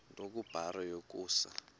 nto kubarrow yokusa